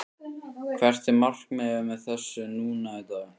Hvert er markmiðið með þessu núna í dag?